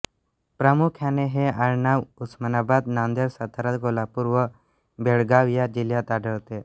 प्रामुख्याने हे आडनाव उस्मानाबाद नांदेड सातारा कोल्हापुर व बेळगांव या जिल्हात आढळते